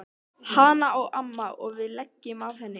Hana á amma og við leigjum af henni.